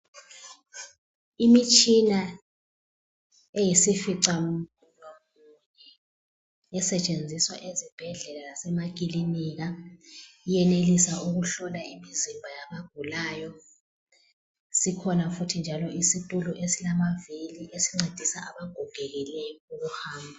Imitshina eyisifica muno munye esetshenziswa ezibhedlela lasemakilinika iyenelisa ukuhlola imizimba yabagulayo. Sikhona futhi njalo isitulo esilamavili esincedisa abagogekileyo ukuhamba.